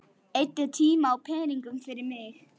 Eyddi tíma og peningum fyrir mig.